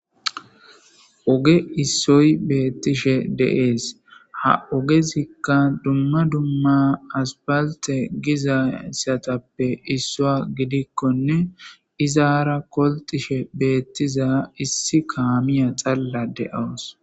oge issoy beettishe deees ha ogezikka dumma dumma asbalte giza satappe issua gidikkonne izaara koltishe beettiza issi kaamiya xalla de7owos